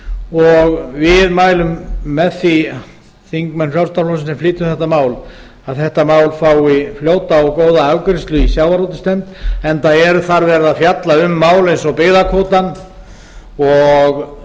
og við mælum með því þingmenn frjálslynda flokksins sem flytjum þetta mál að þetta mál fái fljóta og góða afgreiðslu í sjávarútvegsnefnd enda er þar verið að fjalla um mál eins og byggðakvótann og